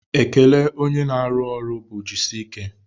Ekele onye na-arụ ọrụ bụ jisike